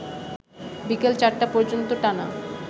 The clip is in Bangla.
বিকেল ৪টা পর্যন্ত টানা